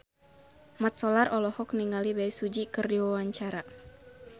Mat Solar olohok ningali Bae Su Ji keur diwawancara